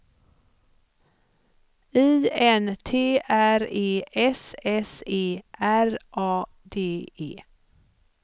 I N T R E S S E R A D E